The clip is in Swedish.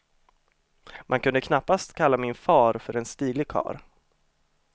Man kunde knappast kalla min far för en stilig karl.